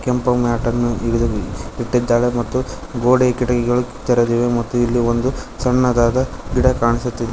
ಕೆಂಪು ಮ್ಯಾಟ್ ಅನ್ನು ಇದರಲ್ಲಿ ಇಟ್ಟಿದ್ದಾರೆ ಮತ್ತು ಗೋಡೆ ಕಿಟಕಿಗಳು ತೆರೆದಿವೆ ಮತ್ತು ಇಲ್ಲಿ ಒಂದು ಸಣ್ಣದಾದ ಗಿಡ ಕಾಣಿಸುತ್ತಿದೆ.